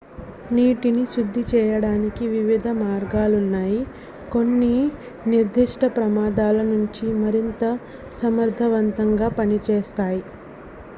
నీటిని శుద్ధి చేయడానికి వివిధ మార్గాలున్నాయి కొన్ని నిర్ధిష్ట ప్రమాదాల నుంచి మరింత సమర్థవంతంగా పనిచేస్తాయి